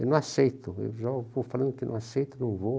Eu não aceito, eu já vou falando que não aceito, não vou.